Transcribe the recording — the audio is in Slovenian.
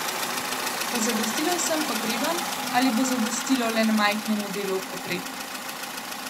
Bo zadostilo vsem potrebam ali bo zadostilo le majhnemu delu potreb?